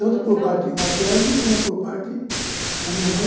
Tanto por parte materno como por parte da minha mãe,